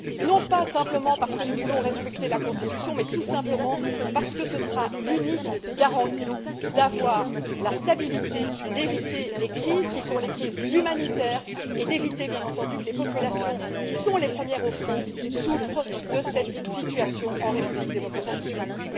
non pas uniquement parce que nous voulons respecter la Constitution, mais tout simplement parce que ce sera la seule garantie pour parvenir à la stabilité, éviter les crises qui sont des crises humanitaires et éviter, bien entendu, que les populations, qui sont les premières au front, souffrent de cette situation en République démocratique du Congo.